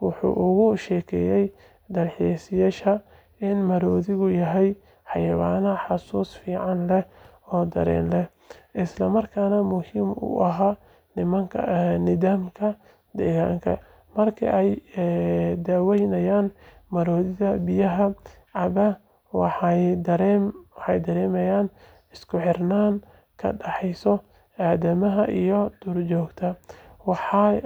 wuxuu uga sheekeeyay dalxiisayaasha in maroodigu yahay xayawaan xasuus fiican leh oo dareen leh, isla markaana muhiim u ah nidaamka deegaanka. Markii ay daawanayeen maroodiga biyaha cabbaya, waxay dareemeen isku xirnaan ka dhaxaysa aadanaha iyo duurjoogta.